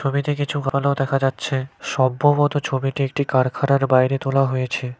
ছবিতে কিছু আলো দেখা যাচ্ছে সম্ভবত ছবিটি একটি কারখানার বাইরে তোলা হয়েছে।